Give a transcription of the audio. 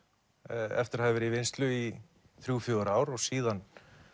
eftir að hafa verið í vinnslu í þrjú til fjögur ár og síðan